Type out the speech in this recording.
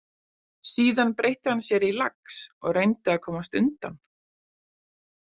Síðan breytti hann sér í lax og reyndi að komast undan.